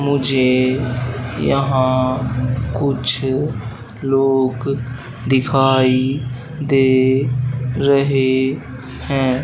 मुझे यहां कुछ लोग दिखाई दे रहे हैं।